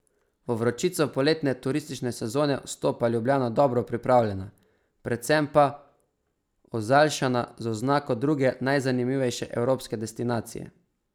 V vročico poletne turistične sezone vstopa Ljubljana dobro pripravljena, predvsem pa ozaljšana z oznako druge najzanimivejše evropske destinacije.